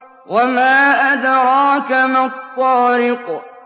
وَمَا أَدْرَاكَ مَا الطَّارِقُ